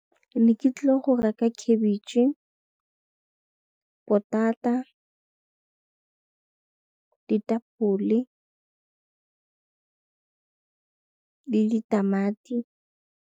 Ke ne ke tlile reka khabetšhe, potata, ditapole le ditamati.